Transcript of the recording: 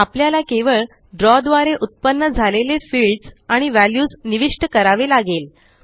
आपल्याला केवळ द्रव द्वारे उत्पन्न झालेले फील्ड्स आणि व्हॅल्यूज निविष्ट करावे लागेल